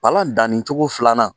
Palan dannicogo filanan